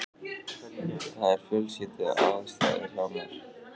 Það eru fjölskylduaðstæður hjá mér.